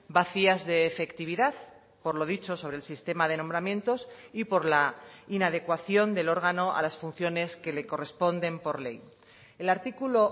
vacías de efectividad por lo dicho sobre el sistema de nombramientos y por la inadecuación del órgano a las funciones que le corresponden por ley el artículo